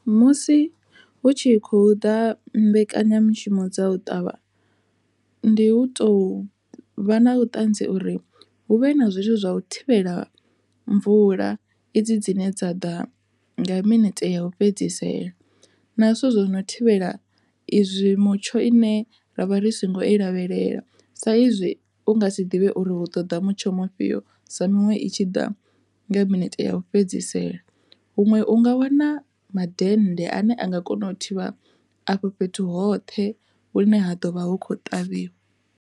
Musi hu tshi khou ḓa mbekanyamishumo dza u ṱavha ndi hu tou vha na vhuṱanzi uri hu vhe na zwithu zwa u thivhela mvula i dzi dzine dza ḓa nga minete ya ufhedzisela na zwithu zwi no thivhela izwi mutsho ine ra vha ri si ngo i lavhelela, sa izwi u nga si ḓivhe uri hu ṱoḓa mutsho mufhio sa miṅwe i tshi ḓa nga minete u fhedzisela huṅwe unga wana mandende ane a nga kona u thivha afho fhethu hoṱhe hune ha ḓovha hu kho ṱavhiwa.